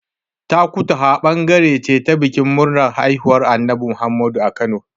Takutaha ɓangare ce ta bikin murnar haihuwar Annabi Muhammadu a Kano.